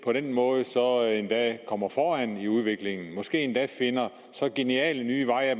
måde endda kommer foran i udviklingen og måske endda finder så geniale nye veje at